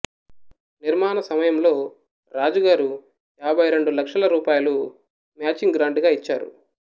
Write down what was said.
నిర్మాణ సమయములో రాజా గారు యాభైరెండు లక్షల రూపాయిలు మాచింగ్ గ్రాంటుగా ఇచ్చారు